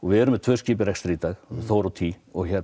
við erum með tvö skip í rekstri í dag Þór og tý